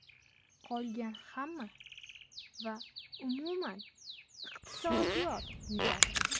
Qolgan hamma va umuman iqtisodiyot yutadi”.